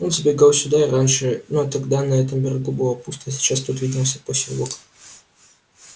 он забегал сюда и раньше но тогда на этом берегу было пусто а сейчас тут виднелся посёлок